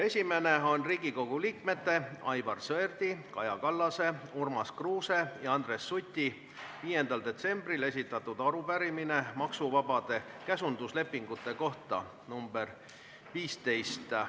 Esimene on Riigikogu liikmete Aivar Sõerdi, Kaja Kallase, Urmas Kruuse ja Andres Suti 5. detsembril esitatud arupärimine maksuvabade käsunduslepingute kohta.